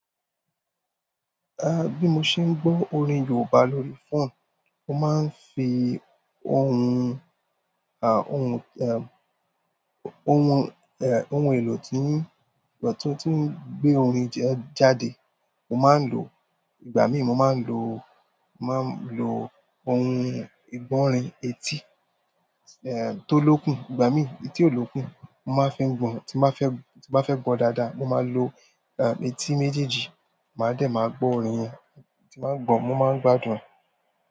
Ah, bí mo ṣe ń gbo orin Yorùbá lórí phone, mo máa ń fi ohun, ah, ohun, eh, ohun, eh, ohun èlò tí ń, ọ̀tún tí ń gbé orin jẹ́ jáde. Mo máa ń lo, ìgbà míì mo máa ń lo, mo máa ń lo ohun, ìgbọràn etí, eh, tó lókùn, ìgbà míì etí olókùn. Mo máa ń fi gbọ̀, tí má fẹ́, tí bá fẹ́ gbọ́ dáadáa, mo máa ń lo, ah, etí méjèèjì, màá dẹ̀ máa gbọ́ ọ̀rin yẹn. Tí báa gbọ̀, mo máa ń gbádùn.